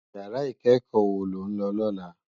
Iyàrá ikèékò wó ló n lò lòlá?